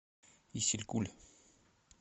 исилькуль